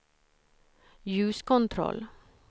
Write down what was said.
ljuskontroll